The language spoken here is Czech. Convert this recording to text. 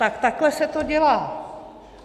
Tak takhle se to dělá.